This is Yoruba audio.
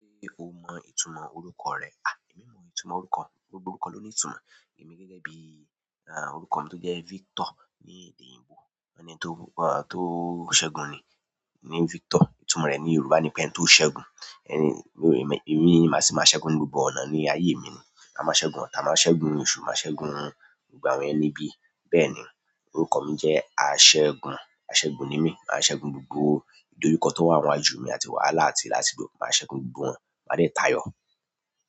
Se o mo itumo orúkọ re? Emi mo itumo orúkọ. Gbogbo orúkọ lo ni itumo. Emi gẹ́gẹ́ bíi, orúkọ mii to n je Victor ni èdè oyinbo, won ni ẹni ti o segun ni. Ní Victor, ìtumọ̀ rẹ̀ ní Yorùbá ni pé ẹ́ni tó ṣẹ́gun. Èmi ni màá ṣi máa ṣẹ́gun ní gbogbo ọ̀nà ní ayé mi ni. Màá ṣẹ́gun ọta, màá ṣẹ́gun oṣù, màá ṣẹ́gun gbogbo àwọn ẹni ibí. Bẹ́ẹ̀ ni, orúkọ mi jẹ́ aṣẹ́gun. Aṣẹ́gun ni mí, màá ṣẹ́gun gbogbo ìdojukọ tó wà níwájú mi àti wàhálà àti láasigbo. Màá ṣẹ́gun gbogbo wọn. Máa dẹ̀ ta yọ.